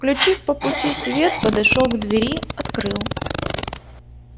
включив по пути свет подошёл к двери открыл